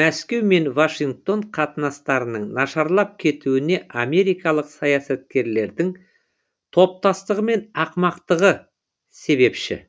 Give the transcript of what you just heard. мәскеу мен вашингтон қатынастарының нашарлап кетуіне америкалық саясаткерлердің топастығы мен ақымақтығы себепші